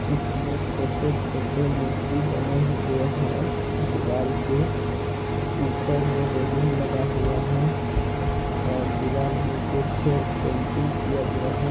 इसमें छोटे-छोटे मूर्ति बने हुए हैं दीवाल पे ऊपर में रैलिंग लगा हुआ हैं और दीवाल में कुछ पेंटिंग किया गया हैं।